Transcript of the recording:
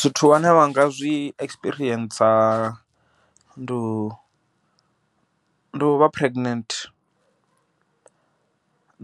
Zwithu vhane vha nga zwi experience ndo no vha pregnancy bt